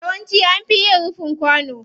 Yawanci an fi yin rufin kwano.